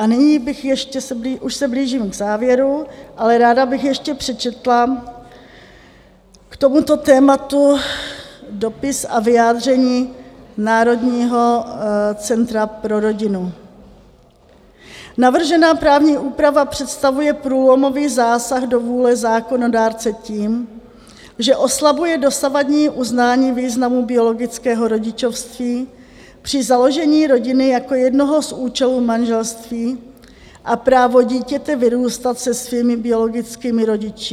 A nyní bych ještě, už se blížím k závěru, ale ráda bych ještě přečetla k tomuto tématu dopis a vyjádření Národního centra pro rodinu: "Navržená právní úprava představuje průlomový zásah do vůle zákonodárce tím, že oslabuje dosavadní uznání významu biologického rodičovství při založení rodiny jako jednoho z účelů manželství a právo dítěte vyrůstat se svými biologickými rodiči.